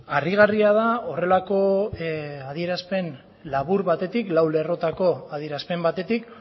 harrigarria da horrelako adierazpen labur batetik lau lerrotako adierazpen batetik